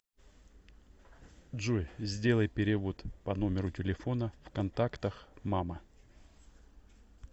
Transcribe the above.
джой сделай перевод по номеру телефона в контактах мама